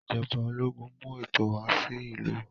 Ijọba ológun mú ètò wà sí ìlú.